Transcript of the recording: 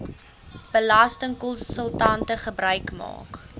belastingkonsultante gebruik maak